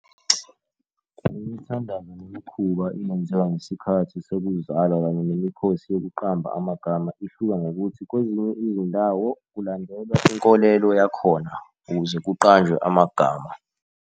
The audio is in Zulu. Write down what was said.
Imithandazo nemikhuba eyenzeka ngesikhathi sokuzalwa kanye nemikhosi yokuqamba amagama ihluka ngokuthi kwezinye izindawo kulandelwa inkolelo yakhona ukuze kuqanjwe amagama.